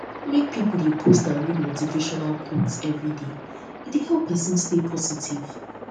make pipo de post and read motivational read motivational quotes everyday e dey help persin stay positive